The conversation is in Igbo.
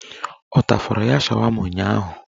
Ọ tafọrọ ya shawama ụnyaahụ?